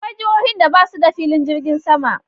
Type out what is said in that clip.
Akwai jihohin da basu da filin jirgin sama.